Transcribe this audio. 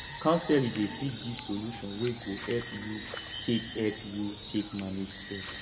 counseling dey fit give solution wey go help yu take help yu take manage stress